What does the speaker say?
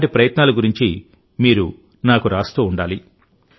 అలాంటి ప్రయత్నాల గురించి మీరు నాకు రాస్తూ ఉండాలి